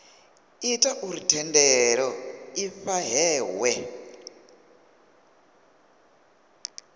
ita uri thendelo i fhahehwe